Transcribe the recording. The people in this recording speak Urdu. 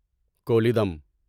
کولیدم